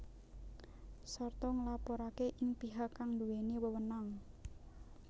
Sarta nglaporake ing pihak kang duweni wewenang